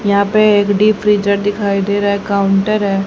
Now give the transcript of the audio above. यहां पे एक डीप फ्रीजर दिखाई दे रहा है काउंटर है।